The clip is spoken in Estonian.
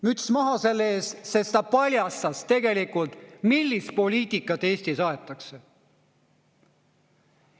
Müts maha selle ees, sest ta paljastas tegelikult, millist poliitikat Eestis aetakse.